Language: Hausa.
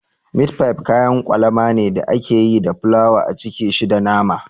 Mit fif kayan kwalama ne da ake yi da fulawa a cike shi da nama